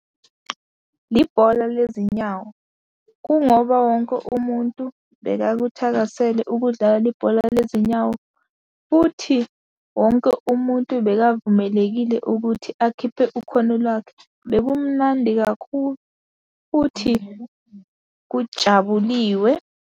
Ibhola lezinyawo, kungoba wonke umuntu bekakuthakasela ukudlala ibhola lezinyawo, futhi wonke umuntu bekavumelekile ukuthi akhiphe ukhono lwakhe. Bekumnandi kakhulu futhi kujabuliwe.